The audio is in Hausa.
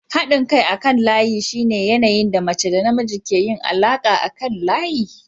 Haɗin kai akan layi shine yanayin da mace da namiji ke yin alaƙa akan layi.